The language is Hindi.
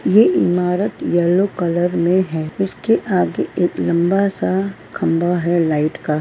ये इमारत यलो कलर में है इसके आगे एक लंबा सा खंबा है लाइट का।